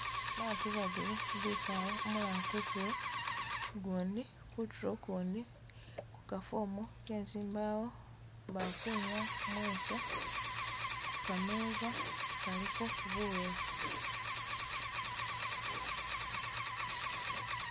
Batu babiri bikale, umulala kutulo, ugundi kutulo ukundi ku kafomu kezimbawo bakwinyaya mweso kukameza kaliko bulolo